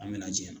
An me na ji jɛya